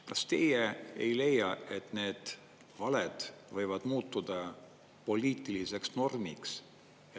Kas teie ei leia, et need valed võivad muutuda poliitiliseks normiks?